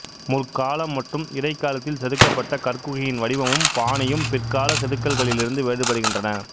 முற்காலம் மற்றும் இடைக்காலத்தில் செதுக்கப்பட்ட கற்குகையின் வடிவமும் பாணியும் பிற்காலச் செதுக்கல்களிலிருந்து வேறுபடுகின்றன